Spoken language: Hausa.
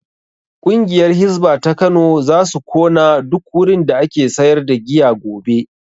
Ƙungiyar hisba ta Kano zasu kona duk wurin da ake sayar da giya gobe